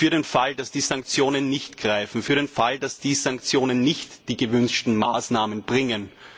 Also für den Fall, dass die Sanktionen nicht greifen. Für den Fall, dass die Sanktionen nicht die gewünschten Maßnahmen bringen.